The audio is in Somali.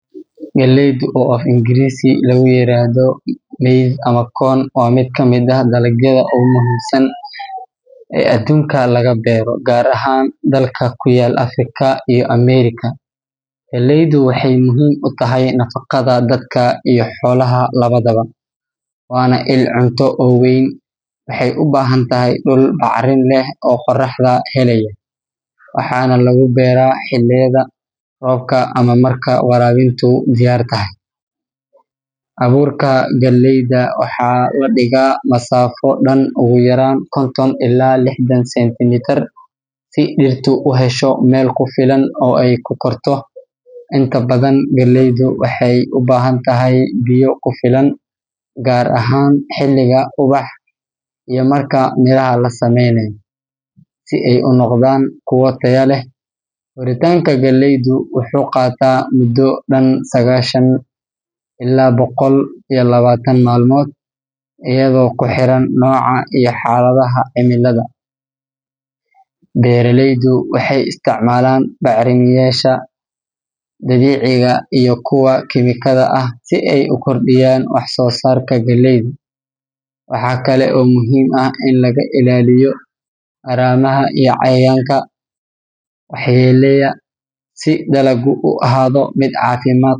Galleyda, oo af-Ingiriisi ahaan loo yaqaan maize ama corn, waa mid ka mid ah dalagyada ugu muhiimka badan ee laga beero dalal badan oo dunida ah. Waxay tahay cunto aasaasi ah oo laga sameeyo waxyaabo badan sida bur, cunto xoolaad, iyo saliid. Waxaa lagu beeraa dhul fidsan oo leh carro nafaqo leh iyo qorrax badan Abuurka galleyda waxaa lagu beeraa marka roobku bilaabmo ama marka waraabin diyaar la yahay. Waxaa habboon in dhulka la qodo loona diyaariyo si fiican, kadibna abuurka lagu beero masaafo dhan ugu yaraan konton ilaa lixdan sentimitir. Galleydu waxay u baahan tahay biyo badan, gaar ahaan marka ay bilowdo inay ubaxdo iyo marka ay samaynayso miraha. Koritaanka galleydu waxay qaadataa muddo dhan qiyaastii sagaashan ilaa boqol iyo labaatan maalmood iyadoo ku xiran nooca la beero. Waxaa la helaa goosashada ugu fiican haddii dhirta laga ilaaliyo haramaha, cayayaanka, iyo cudurrada. Waxaa lagu bacrimiyo bacrimiyeyaasha dabiiciga ah ama kuwa kiimiko ah si kor loogu qaado wax-soosaarka. Marka.